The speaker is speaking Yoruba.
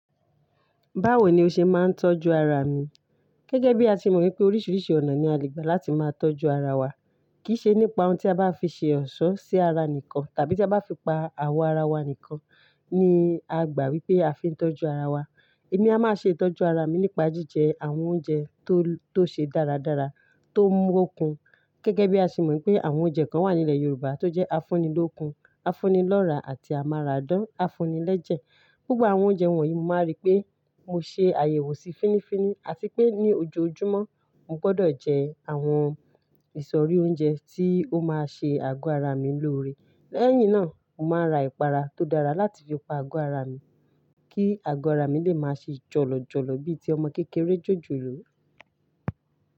Báwo ni o ṣe máa ń tọ́jú ara mi? Gẹ́gẹ́ bí a ṣe mọ̀ pé oríṣiríṣi ọ̀nà ni a lè gbà láti máa tọ́jú ara wa. Kì í ṣe nípa ohun tí a bá fi ṣe ọ̀ṣọ́ sí ara nìkan tàbí tí a bá fi pa àwọ̀ ara wa nìkan ni a gbà wípé a fi ń tọ́jú ara wa. Èmi a máa ṣe ìtọ́jú ara mi nípa jíjẹ àwọn oúnjẹ tó, tó ṣe dáradára, tó ń mú okùn. Gẹ́gẹ́ bí a ṣe mọ̀ pé àwọn oúnjẹ kan wà nílẹ̀ Yorùbá tó jẹ́ afúnilókun, afúnilọ́ra àti amárádán, afúnilẹ́jẹ̀. Gbogbo àwọn oúnjẹ wọ̀nyí máa rí pé mo ṣe àyẹ̀wò sí fíní-fini àti pé ní ojoojúmọ́ mo gbọdọ̀ jẹ àwọn ìsọ̀rí oúnjẹ tí ó máa ṣe àgọ́ ara mi lóore. Lẹ́yìn náà, mo máa ra ìpara tó dára láti fi pa àgọ́ ara mi kí àgọ́ ara mi lè má ṣe jọ̀lọ̀jọ̀lọ̀ bíi ti ọmọ kékeré jòjòló.